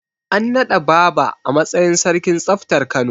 An naɗa Baaba a matsayin sarkin tsaftar Kano.